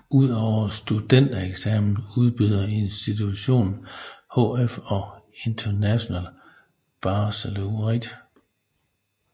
Udover studentereksamen udbyder institutionen hf og International Baccalaureate